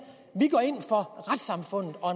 at retssamfundet og